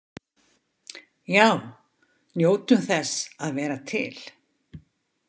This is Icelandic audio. Já, njótum þess að vera til!